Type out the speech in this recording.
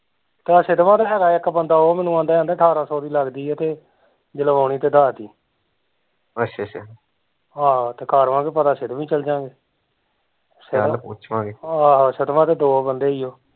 ਤੇ ਹੈਗਾ ਇੱਕ ਬੰਦਾ ਤੇ ਓਹ ਮੈਨੂੰ ਕਹਿੰਦਾ ਕੀ ਠਾਰਾਂ ਸੋ ਦੀ ਲੱਗਦੀ ਐ ਜੇ ਲਵਾਉਣੀ ਤੇ ਦੱਸਦੀ ਆਹੋ ਤੇ ਕਰ ਆਵਾਂਗੇ ਪਤਾ ਵੀ ਚਲਜਾਂਗੇ ਆਹੋ ਤੇ ਦੋ ਬੰਦੇ ਈ ਓ